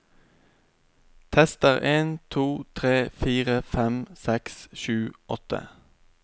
Tester en to tre fire fem seks sju åtte